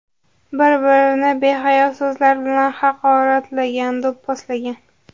Bir-birini behayo so‘zlar bilan haqoratlagan, do‘pposlagan.